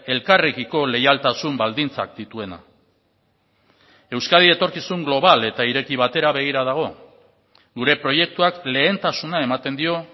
elkarrekiko leialtasun baldintzak dituena euskadi etorkizun global eta ireki batera begira dago gure proiektuak lehentasuna ematen dio